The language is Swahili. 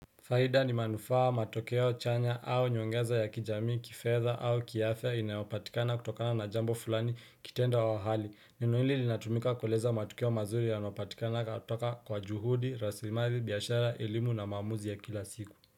Faida ni manufaa, matokeo chanya au nyongeza ya kijamii kifedha au kiafya inayopatikana kutokana na jambo fulani kitendo wa hali. Neno hili linatumika kueleza matokeo mazuri yanayopatikana kutoka kwa juhudi, rasilimali, biashara, elimu na maamuzi ya kila siku.